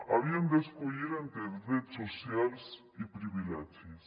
havien d’escollir entre drets socials i privilegis